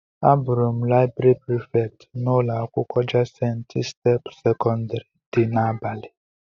Abuuru m laịbrị Prịfèkt n'ụlọ akwụkwọ Jayent step sekọndrị dị n'abalị.